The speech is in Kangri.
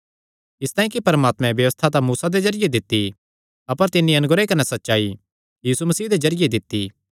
इसतांई कि परमात्मे व्यबस्था तां मूसा दे जरिये दित्ती अपर तिन्नी अनुग्रह कने सच्चाई यीशु मसीह दे जरिये दित्ती